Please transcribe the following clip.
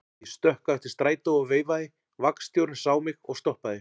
Ég stökk á eftir strætó og veifaði, vagnstjórinn sá mig og stoppaði.